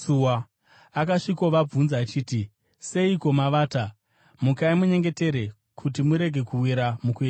Akasvikovabvunza achiti, “Seiko mavata? Mukai munyengetere kuti murege kuwira mukuedzwa.”